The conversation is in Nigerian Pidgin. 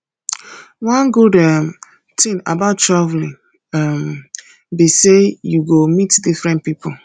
one good um thing about traveling um be say you go meet different people